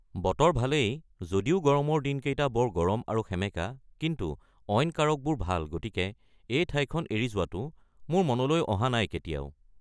বতৰ ভালেই, যদিও গৰমৰ দিনকেইটা বৰ গৰম আৰু সেমেকা, কিন্তু অইন কাৰকবোৰ ভাল গতিকে এই ঠাইখন এৰি যোৱাটো মোৰ মনলৈ অহা নাই কেতিয়াও।